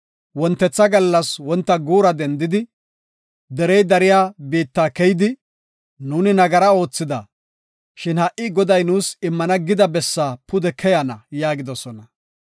Wontetha gallas wonta guura dendidi, gezze biitta keyidi, “Nuuni nagara oothida, shin ha77i Goday nuus immana gida bessaa pude keyana” yaagidosona.